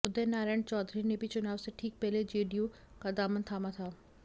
उदय नारायण चौधरी ने भी चुनाव से ठीक पहले जेडीयू का दामन थामा था